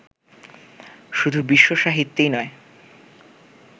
শুধু বিশ্বসাহিত্যেই নয়